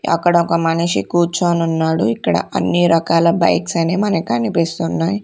అక్కడొక మనిషి కూర్చోనున్నాడు ఇక్కడ అన్ని రకాల బైక్స్ అని మన కనిపిస్తున్నాయ్.